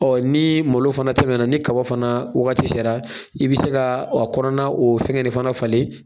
ni malo fana tɛmɛna ni kaba fana wagati sera, i bi se ka a kɔnɔna o fɛngɛ nin fana falen